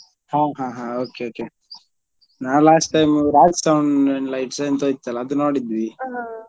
ಹಾ ಹಾ okay okay ನಾನ್ last time Raj sounds and lights ಎಂತದೋ ಇತ್ತಲ್ಲ ಅದು ನೋಡಿದ್ವಿ.